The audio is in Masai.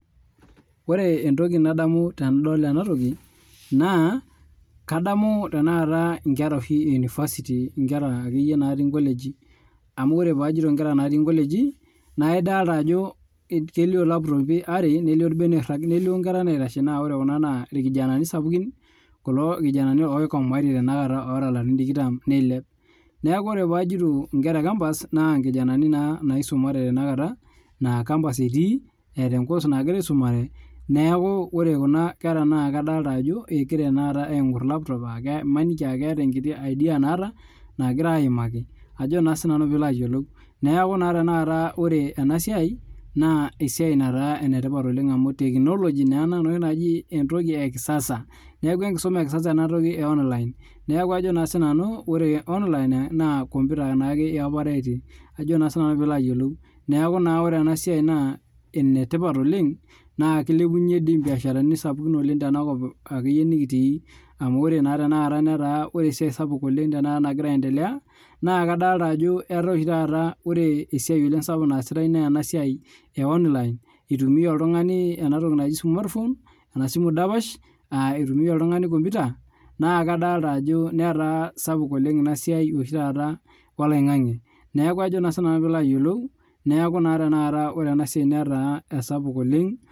Ore entoki nadamu tenadol ena toki naa, kadamu nkerae ueniversity nkera akeyie natii nkolegi .amu yiolo ajo paa ajoito nkoleji, kelio laptopi are nelio irbeniak nelio nkera naitashe naa ore kulo irkijananai sapukin oikomaaitie tenakata oota larin tikitam neilep. Neeku naa ore pee ajito nkera ecumpus ,nkera naa naisumate kuna aa campus etii eta enkos nagira aisumare, neeku ore tenakata Kuna kera adolita ajo laptop egira aingor maniki aa keeta enkiti [cs[idea naata nagira aimaki ajo naa siiananu pee ilo ayiolou. Neeku naa tenakata ore ena siai naa esiai etipat oleng amu teknologi naa ena enoshi naji entoki ekisasa .Neeku enkisuma enatoki eonline ,neeku kajo naa siiananu ore onlina naa komputa naake iyopare ajo siiananu pee ilo ayiolou. Neeku naa ore enasiai naa enetipat oleng, naa kilepunyie doi mbiasharani kumok oleng tenakop akeyie nikitii. Amu ore akeyie esiai saai sapuk nagira aendelea ,naa kadol ajo etaa ore ashu taata esiai sapuk naasitae naa ena siai eonline eitumia oltungani smartphone[cs,ena simu dapash, eitumiyia oltungani komputa, netaa sapuk ina siai oshi taata oloingange ,neeku naa ore ena siai netaa sapuk oleng.